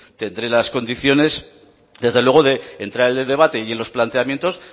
tendrá las condiciones desde luego de entrar en el debate y en los planteamientos